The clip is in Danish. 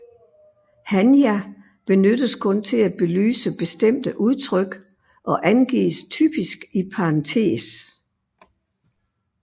Hanja benyttes kun til at belyse bestemte udtryk og angives typisk i parentes